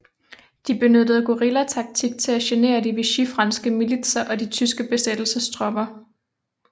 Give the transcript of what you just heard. De benyttede guerillataktik til at genere de vichyfranske militser og de tyske besættelsestropper